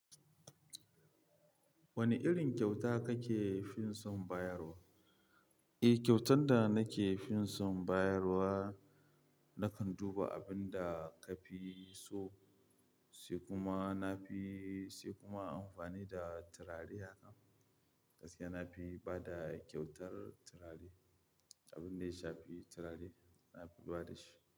Wani irin kyauta ka ke fin san bayarwa? Eh, kyautan da nake fin san bayarwa nakan duba abin da ka fi so sai kuma na fi sai kuma amfani da turare hakan. Gaskiya na fi bada kyautar turare. Abin da ya sha fi turare, na fi bada shi.